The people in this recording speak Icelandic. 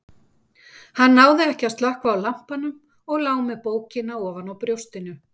Hann náði ekki að slökkva á lampanum og lá með bókina ofan á brjóstinu.